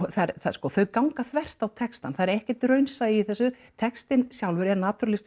sko þau ganga þvert á textann það er ekkert raunsæi í þessu textinn sjálfur er